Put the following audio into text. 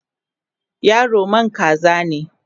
yaro man kaza ne?